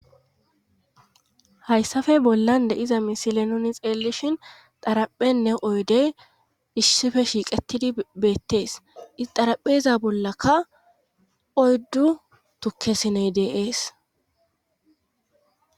hayssafe bollan de iza misile nuni xeellishhin xaraphenne oydey issife shiiqetidi beettees. xarapheza bollaka oyddu tukke siney deeees.